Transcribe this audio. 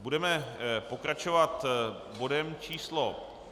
Budeme pokračovat bodem číslo